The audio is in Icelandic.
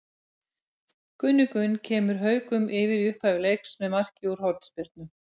Gunni Gunn kemur Haukum yfir í upphafi leiks með marki úr hornspyrnu.